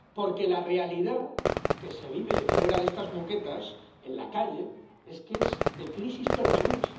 Porque la realidad que se vive fuera de estas moquetas, en la calle, es de crisis permanente.